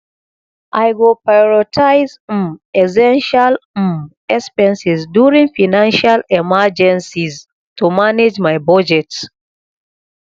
i go prioritize um essential um expenses during financial emergencies to manage my budget